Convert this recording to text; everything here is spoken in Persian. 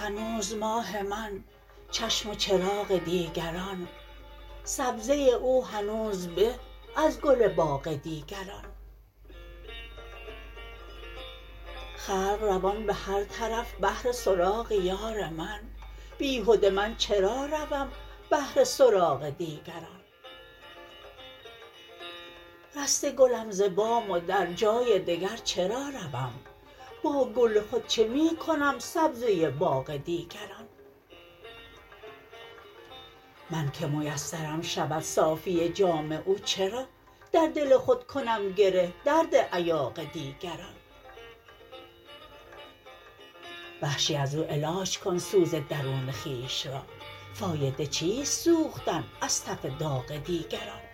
هنوز ماه من چشم و چراغ دیگران سبزه او هنوز به از گل باغ دیگران خلق روان به هر طرف بهر سراغ یار من بیهده من چرا روم بهر سراغ دیگران رسته گلم ز بام و در جای دگر چرا روم با گل خود چه می کنم سبزه باغ دیگران من که میسرم شود صافی جام او چرا در دل خود کنم گره درد ایاغ دیگران وحشی از او علاج کن سوز درون خویش را فایده چیست سوختن از تف داغ دیگران